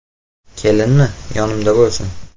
Kelinmi, yonimda bo‘lsin.